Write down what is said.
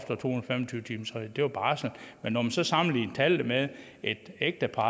tyve timersreglen det var bare sådan men når man så sammenlignede tallene med et ægtepar